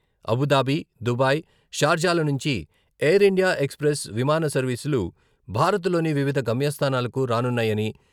Abu Dhabi, Dubai, షార్జాల నుంచి ఎయిర్ ఇండియా ఎక్స్ప్రెస్ విమాన సర్వీసులు భారత్లోని వివిధ గమ్యస్థానాలకు రానున్నాయని...